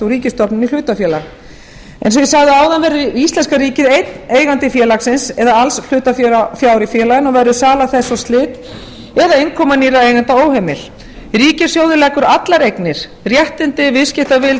ríkisstofnun í hlutafélag eins og ég sagði áðan verður íslenska ríkið einn eigandi félagsins eða alls hlutafjár í félaginu og verður sala þess og slit eða innkoma nýrra eigenda óheimil ríkissjóður leggur allar eignir réttindi viðskiptavild